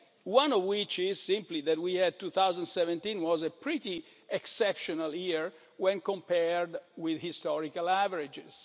One of which is simply that 2017 was a pretty exceptional year when compared with historical averages.